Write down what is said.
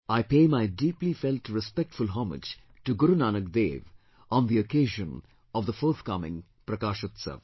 I pay my deeply felt respectful homage to Guru Nanak Dev on the occasion of the forthcoming Prakashotsav